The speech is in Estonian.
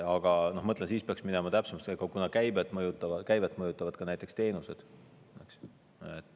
Aga ma ütlen, siis peaks minema täpsemaks, kuna käivet mõjutavad ka näiteks teenused.